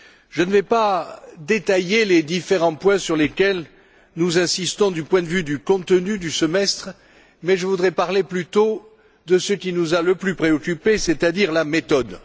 Je ne vais pas détailler les différents points sur lesquels nous insistons du point de vue du contenu du semestre je voudrais parler plutôt de ce qui nous a le plus préoccupé, c'est à dire de la méthode.